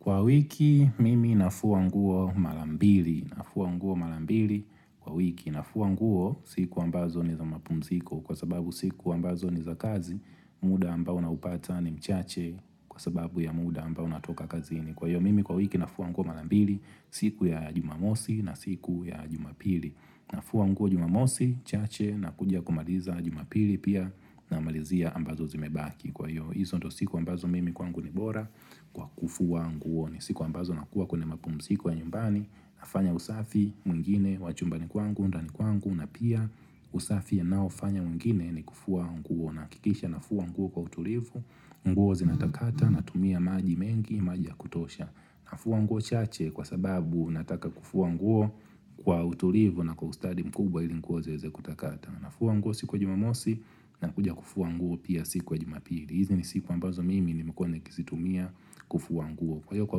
Kwa wiki mimi nafua nguo mara mbili, nafua nguo mara mbili kwa wiki, nafua nguo siku ambazo ni za mapumziko kwa sababu siku ambazo ni za kazi, muda ambao naupata ni mchache kwa sababu ya muda ambao natoka kazini. Kwa hiyo mimi kwa wiki nafua nguo mara mbili siku ya jumamosi na siku ya jumapili. Nafua nguo jumamosi, chache nakuja kumaliza jumapili pia na malizia ambazo zimebaki. Kwa hiyo, hizo ndio siku ambazo mimi kwangu ni bora kwa kufua nguo. Ni siku ambazo nakuwa kwenye mapumuziko ya nyumbani nafanya usafi mwingine wachumbani kwangu, ndani kwangu na pia usafi anao fanya mwingine ni kufua nguo Nahakikisha nafua nguo kwa utulivu, nguo zinatakata natumia maji mengi, maji ya kutosha. Nafua nguo chache kwa sababu nataka kufua nguo kwa utulivu na kwa ustadi mkubwa hili nguo zeweze kutakata. Nafua nguo siku ya jumamosi na kuja kufua nguo pia siku ya jumapili. Hizi ni siku ambazo mimi nimekua nikizitumia kufua nguo. Kwa hiyo kwa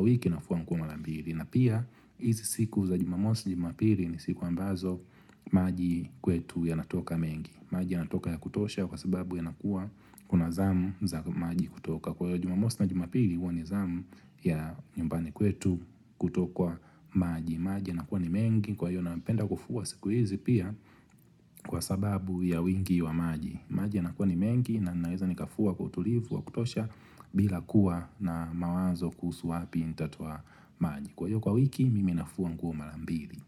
wiki nafua nguo mara mbili. Na pia, hizi siku za jumamosi jumapili ni siku ambazo maji kwetu yanatoka mengi. Maji ya natoka ya kutosha kwa sababu yanakuwa kuna zamu za maji kutoka. Kwa hivyo, jumamosi na jumapili huwa ni zamu ya nyumbani kwetu kutokwa maji. Maji nakuwa ni mengi kwa hivyo napenda kufua siku hizi pia kwa sababu ya wingi wa maji. Maji na kuwa ni mengi na naweza nikafua utulivu wa kutosha bila kuwa na mawazo kuhusu wapi nitatoa maji Kwa hivyo kwa wiki mimi nafua nguo mara mbili.